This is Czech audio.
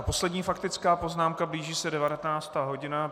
A poslední faktická poznámka - blíží se 19. hodina.